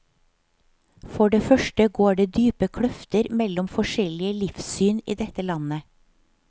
For det første går det dype kløfter mellom forskjellige livssyn i dette landet.